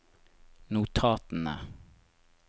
notatene